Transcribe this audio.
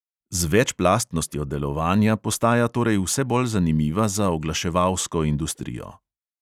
Z večplastnostjo delovanja postaja torej vse bolj zanimiva za oglaševalsko industrijo.